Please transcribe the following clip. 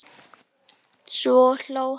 Svo hló hann.